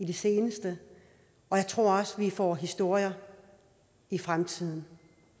det seneste og jeg tror også at vi får historier i fremtiden